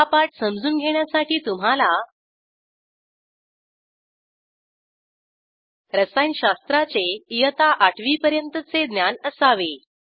हा पाठ समजून घेण्यासाठी तुम्हाला रसायनशास्त्राचे इयत्ता आठवी पर्यंतचे ज्ञान असावे